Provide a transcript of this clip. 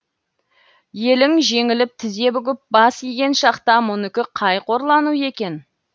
елің жеңіліп тізе бүгіп бас иген шақта мұныкі қай қорлану екен